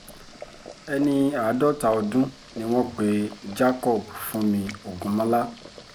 ẹni àádọ́ta ọdún ni wọ́n pe jacob fúnmi ògúnmọ́lá